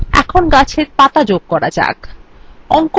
এখন গাছের পাতা যোগ করা যাক